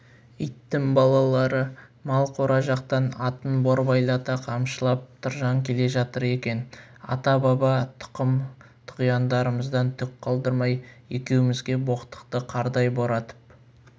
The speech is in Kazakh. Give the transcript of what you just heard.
иттің балалары мал қора жақтан атын борбайлата қамшылап тұржан келе жатыр екен ата-баба тұқым-тұғияндарымыздан түк қалдырмай екеумізге боқтықты қардай боратып